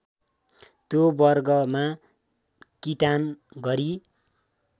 त्यो वर्गमा किटान गरी